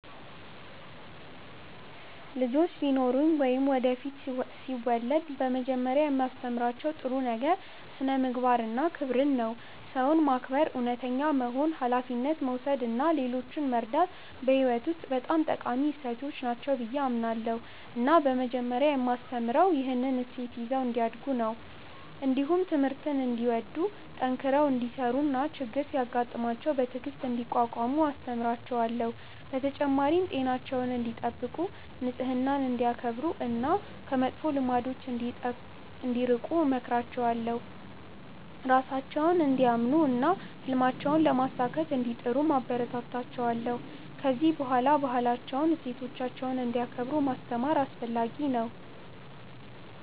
ልጆች ቢኖሩኝ ወይም ወደፊት ሲወለድ በመጀመሪያ የማስተምራቸው ነገር ጥሩ ስነ-ምግባር እና ክብርን ነው። ሰውን ማክበር፣ እውነተኛ መሆን፣ ሀላፊነት መውሰድ እና ሌሎችን መርዳት በሕይወት ውስጥ በጣም ጠቃሚ እሴቶች ናቸው ብዬ አምናለሁ እና በመጀመሪያ የማስተምረው ይህንን እሴት ይዘው እንዲያድጉ ነው። እንዲሁም ትምህርትን እንዲወዱ፣ ጠንክረው እንዲሠሩ እና ችግር ሲያጋጥማቸው በትዕግሥት እንዲቋቋሙ አስተምራቸዋለሁ። በተጨማሪም ጤናቸውን እንዲጠብቁ፣ ንጽህናን እንዲያከብሩ እና ከመጥፎ ልማዶች እንዲርቁ እመክራቸዋለሁ። ራሳቸውን እንዲያምኑ እና ህልማቸውን ለማሳካት እንዲጥሩም አበረታታቸዋለሁ። ከዚህ በላይ ባህላቸውንና እሴቶቻቸውን እንዲያከብሩ ማስተማር አስፈለጊ ነው።